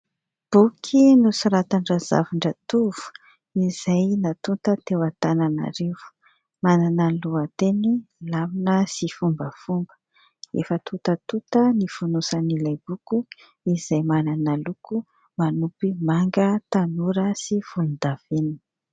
Boky nosoratan-dRazavindratovo izay natonta teo Antananarivo, manana ny lohateny "Lamina sy fombafomba". Efa tontatonta ny fonosan'ilay boky izay manana loko manopy manga tanora sy volondavenona.